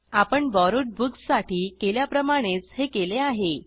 आपण borrowed books साठी केल्याप्रमाणेच हे केले आहे